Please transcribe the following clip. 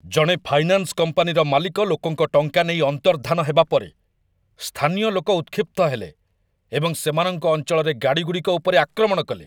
ଜଣେ ଫାଇନାନ୍ସ କମ୍ପାନୀର ମାଲିକ ଲୋକଙ୍କ ଟଙ୍କା ନେଇ ଅନ୍ତର୍ଦ୍ଧାନ ହେବା ପରେ, ସ୍ଥାନୀୟ ଲୋକ ଉତ୍‌କ୍ଷିପ୍ତ ହେଲେ ଏବଂ ସେମାନଙ୍କ ଅଞ୍ଚଳରେ ଗାଡ଼ିଗୁଡ଼ିକ ଉପରେ ଆକ୍ରମଣ କଲେ।